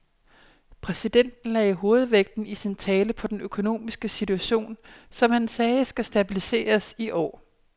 Præsidenten lagde hovedvægten i sin tale på den økonomiske situation, som han sagde skal stabiliseres i år.